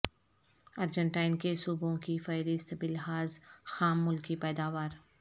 Argentine کے صوبوں کی فہرست بلحاظ خام ملکی پیداوار